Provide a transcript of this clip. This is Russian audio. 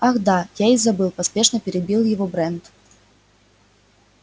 ах да я и забыл поспешно перебил его брент